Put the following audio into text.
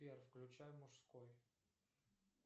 сбер включай мужской